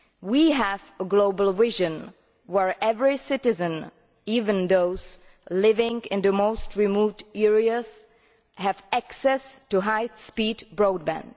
We have a global vision where every citizen, even those living in the remotest areas, has access to high speed broadband.